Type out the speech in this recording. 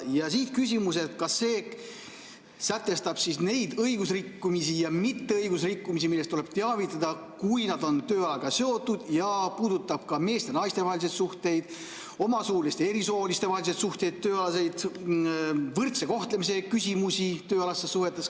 Ja siit küsimus: kas see sätestab neid õigusrikkumisi ja mitteõigusrikkumisi, millest tuleb teavitada, kui nad on tööajaga seotud, ja puudutab ka meeste ja naiste vahelisi suhteid, omasooliste ja erisooliste vahelisi tööalaseid suhteid, võrdse kohtlemise küsimusi tööalastes suhetes?